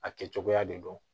A kɛ cogoya de don